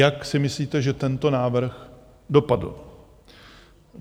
Jak si myslíte, že tento návrh dopadl?